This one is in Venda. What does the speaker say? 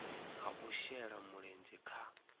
ha u shela mulenzhe kha